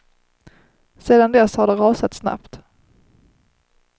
Sedan dess har det rasat snabbt.